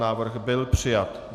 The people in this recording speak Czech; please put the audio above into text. Návrh byl přijat.